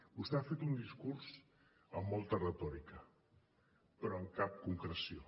vostè ha fet un discurs amb molta retòrica però amb cap concreció